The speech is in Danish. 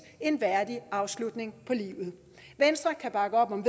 en værdig afslutning på livet venstre kan bakke op om